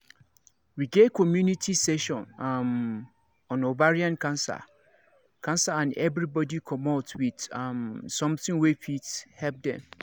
we get community session um on ovarian um cancer and everybody commot with um something wey fit help dem